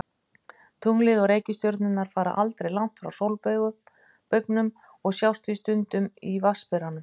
Tunglið og reikistjörnurnar fara aldrei langt frá sólbaugnum og sjást því stundum í Vatnsberanum.